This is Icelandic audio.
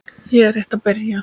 Ég er rétt að byrja!